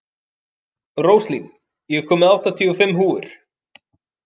Róslín, ég kom með áttatíu og fimm húfur!